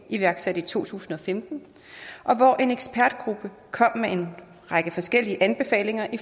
iværksatte i to tusind og femten og hvor en ekspertgruppe kom med en række forskellige anbefalinger i